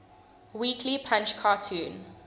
weekly punch cartoon